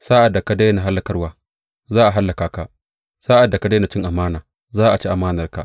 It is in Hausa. Sa’ad da ka daina hallakarwa, za a hallaka ka; sa’ad da ka daina cin amana, za a ci amanarka.